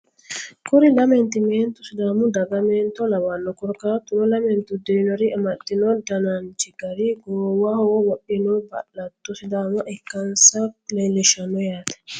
Kuri lamenti meentu sidaamu daga meento lawanno korkaatuno lamenti uddirinori amaxxino dananchi gari goowaho wodhino ba'latto sidaama ikkansa leellishshanno yaate